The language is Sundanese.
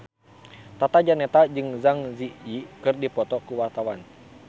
Tata Janeta jeung Zang Zi Yi keur dipoto ku wartawan